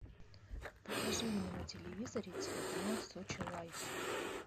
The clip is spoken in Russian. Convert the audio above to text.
покажи мне на телевизоре телеканал сочи лайф